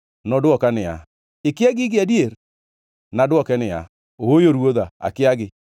Nodwoka niya, “Ikia gigi adier?” Nadwoke niya, “Ooyo ruodha, akiagi.”